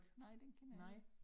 Nej den kender jeg ikke